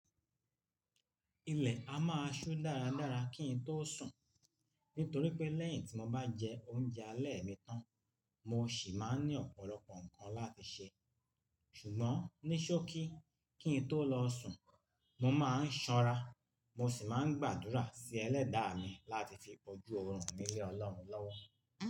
Ilẹ̀ a máa ṣú dáradára kín tó sùn nítorí pé lẹ́yìn tí mo bá jẹ oúnjẹ alẹ́ mi tán, mo sì máa ń ní ọ̀pọ̀lọpọ̀ nǹkan láti ṣe. Ṣùgbọ́n níṣókí kí n tó lọ sùn, mo máa ń ṣọ́ra, mo sì máa ń gbàdúrà sí ẹlẹ́dàá mi láti fi bójú ọrùn mi lé Ọlọ́run lọ́wọ́.